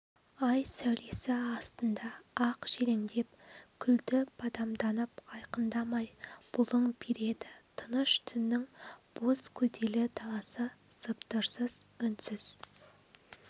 ай сәулесі астында ақ желендеп күлді бадамданып айқындамай бұлың береді тыныш түннің боз көделі даласы сыбдырсыз үнсіз